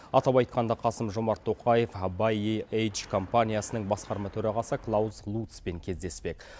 атап айтқанда қасым жомарт тоқаев бай вей эйдж компаниясының басқарма төрағасы клаус лутцпен кездеспек